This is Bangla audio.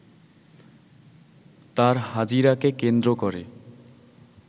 তার হাজিরাকে কেন্দ্র করে